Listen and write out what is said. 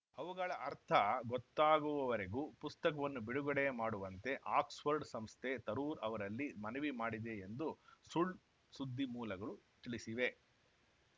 ಅವುಗಳ ಅರ್ಥ ಗೊತ್ತಾಗುವವರೆಗೂ ಪುಸ್ತಕವನ್ನು ಬಿಡುಗಡೆ ಮಾಡುವಂತೆ ಆಕ್ಸ್‌ಫರ್ಡ್‌ ಸಂಸ್ಥೆ ತರೂರ್‌ ಅವರಲ್ಲಿ ಮನವಿ ಮಾಡಿದೆ ಎಂದು ಸುಳ್‌ ಸುದ್ದಿ ಮೂಲಗಳು ತಿಳಿಸಿವೆ